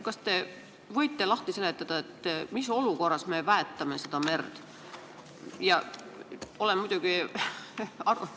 Kas te võite lahti seletada, mis olukorras me merd väetame?